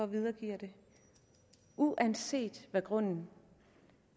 videregiver den uanset hvad grunden